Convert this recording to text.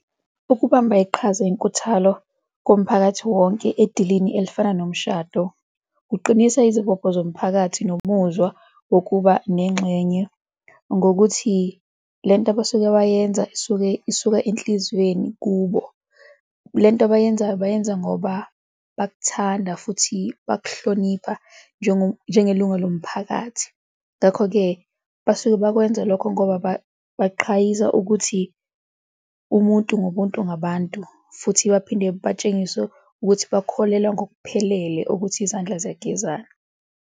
Ukubamba iqhaza enkuthalo komphakathi wonke endilini elifana nomshado kuqinisa izibopho zomphakathi nomuzwa wokuba nengxenye ngokuthi le nto abasuke bagenza isuke isuka enhliziyweni kubo. Le nto abayenzayo bayenza ngoba bakuthanda futhi bakuhlonipha njengelunga lomphakathi. Ngakho-ke, basuke bakwenza lokho ngoba baqhayisa ukuthi umuntu ngumuntu ngabantu futhi baphinde batshengise ukuthi bakholelwa ngokuphelele ukuthi izandla ziyagezana.